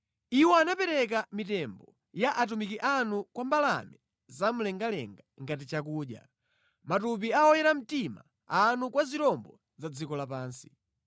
Iwo anapereka mitembo ya atumiki anu kwa mbalame zamlengalenga ngati chakudya, matupi a oyera mtima anu kwa zirombo za dziko lapansi.